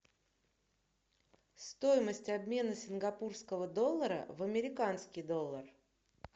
стоимость обмена сингапурского доллара в американский доллар